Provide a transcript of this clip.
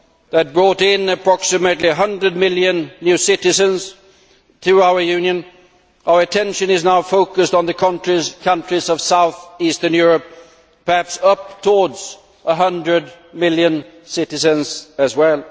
that brought in approximately 100 million new citizens to our Union, our attention is now focused on the countries of south eastern Europe perhaps up to 100 million citizens as well.